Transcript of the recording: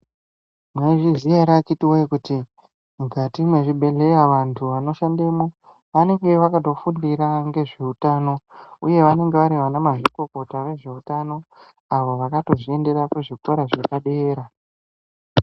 Mwaizviziya ere akiti woye kuti mukati mwezvibhedhleya vantu vanoshandemwo anenge vakatofundira ngezveutano uye vanenge vari ana mazvikokota vezveutano avo vakatozviendera kuzvikora zvepadera.